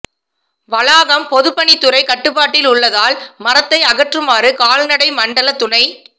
வளாகம் பொதுப்பணி துறை கட்டுப்பாட்டில் உள்ளதால் மரத்தை அகற்றுமாறு கால்நடை மண்டல துணை